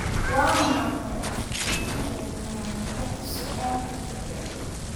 Waa maxay astamaaha iyo calaamadaha suulka kiciya?